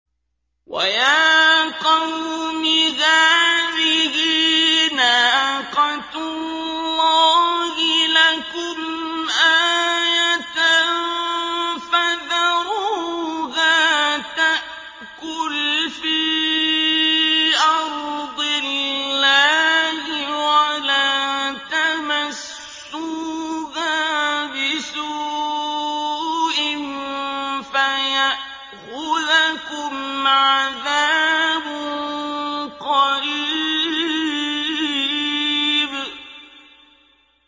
وَيَا قَوْمِ هَٰذِهِ نَاقَةُ اللَّهِ لَكُمْ آيَةً فَذَرُوهَا تَأْكُلْ فِي أَرْضِ اللَّهِ وَلَا تَمَسُّوهَا بِسُوءٍ فَيَأْخُذَكُمْ عَذَابٌ قَرِيبٌ